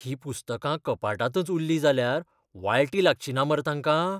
हीं पुस्तकां कपाटांतच उल्लीं जाल्यार वाळटी लागचिना मरे तांकां?